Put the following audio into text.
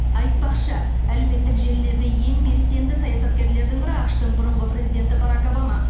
айтпақшы әлеуметтік желілерде ең белсенді саясаткерлердің бірі ақш тың бұрынғы президенті барак обама